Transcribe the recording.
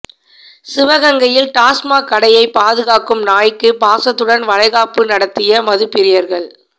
சிவகங்கையில் டாஸ்மாக் கடையை பாதுகாக்கும் நாய்க்கு பாசத்துடன் வளைகாப்பு நடத்திய மதுப்பிரியர்கள்